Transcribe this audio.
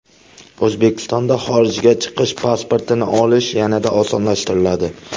O‘zbekistonda xorijga chiqish pasportini olish yanada osonlashtiriladi.